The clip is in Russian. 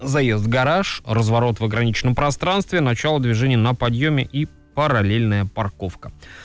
заезд в гараж разворот в ограниченном пространстве начало движения на подъёме и параллельная парковка